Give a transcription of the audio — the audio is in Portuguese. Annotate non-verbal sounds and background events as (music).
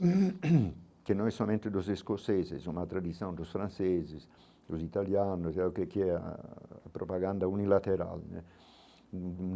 (coughs) que não é somente dos escoceses, uma tradição dos franceses, dos italianos, é o que (unintelligible) a propaganda unilateral né hum.